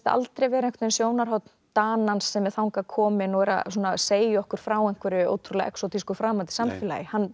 aldrei vera sjónarhorn Danans sem er þangað kominn og er að segja okkur frá einhverju ótrúlega framandi samfélagi hann